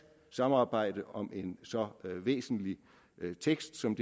samarbejde om en så væsentlig tekst som